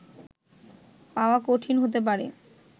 পাওয়া কঠিন হতে পারে